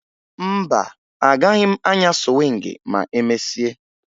Mba, agaghị m anya sụwịngị ma emesịa